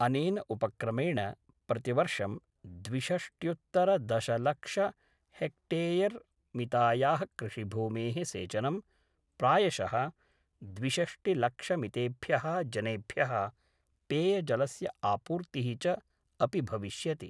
अनेन उपक्रमेण प्रतिवर्षं द्विषष्ट्युत्तरदशलक्ष हेक्टेयरमितायाः कृषिभूमेः सेचनं, प्रायशः द्विषष्टिलक्षमितेभ्यः जनेभ्यः पेयजलस्य आपूर्तिः च अपि भविष्यति।